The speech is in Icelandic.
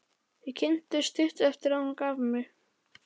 Þau kynntust stuttu eftir að hún gaf mig.